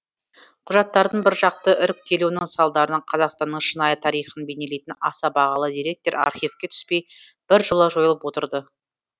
құжаттардың біржақты іріктелуінің салдарынан қазақстанның шынайы тарихын бейнелейтін аса бағалы деректер архивке түспей біржола жойылып отырды